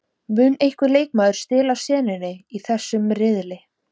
Mun einhver leikmaður stela senunni í þessum riðli?